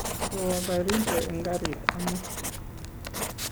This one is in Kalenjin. kowo Baringo eng' karit amut